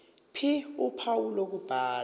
ph uphawu lokubhala